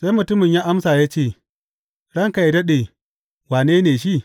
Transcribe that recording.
Sai mutumin ya amsa ya ce, Ranka yă daɗe, wane ne shi?